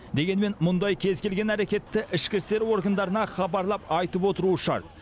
дегенмен мұндай кез келген әрекетті ішкі істер органдарына хабарлап айтып отыру шарт